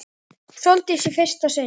Sóldísi í fyrsta sinn.